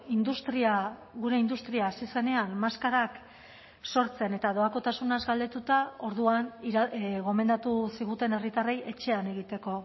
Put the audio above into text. industria gure industria hasi zenean maskarak sortzen eta doakotasunaz galdetuta orduan gomendatu ziguten herritarrei etxean egiteko